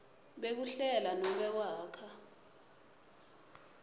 bekuhlela nobe kwakha